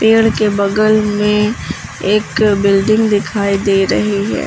पेड़ के बगल में एक बिल्डिंग दिखाई दे रही है।